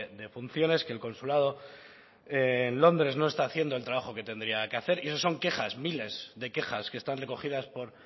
de funciones que el consulado en londres no está haciendo el trabajo que tendría que hacer y esos son quejas miles de quejas que están recogidas por